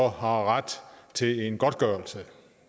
har ret til en godtgørelse